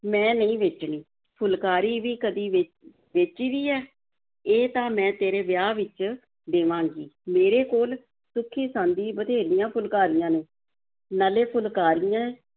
ਮੈਂ ਨਹੀਂ ਵੇਚਣੀ, ਫੁਲਕਾਰੀ ਵੀ ਕਦੀ ਵੇ ਵੇਚੀ ਦੀ ਹੈ, ਇਹ ਤਾਂ ਮੈਂ ਤੇਰੇ ਵਿਆਹ ਵਿੱਚ ਦੇਵਾਂਗੀ, ਮੇਰੇ ਕੋਲ ਸੁੱਖੀ-ਸਾਂਦੀਂ ਬਥੇਰੀਆਂ ਫੁਲਕਾਰੀਆਂ ਨੇ, ਨਾਲੇ ਫੁਲਕਾਰੀਆਂ